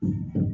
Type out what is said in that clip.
Unhun